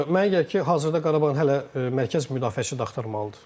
Mənə elə gəlir ki, hazırda Qarabağın hələ mərkəz müdafiəçi də axtarmalıdır.